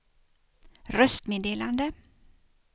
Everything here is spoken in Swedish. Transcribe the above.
röstmeddelande